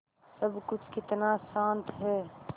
सब कुछ कितना शान्त है